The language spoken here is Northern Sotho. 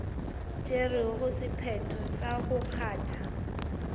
tšerego sephetho sa go kgatha